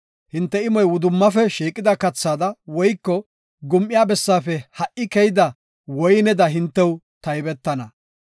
Hinte imoy wudummafe shiiqida kathada woyko gum7iya bessaafe ha77i keyida woyneda hintew taybetana.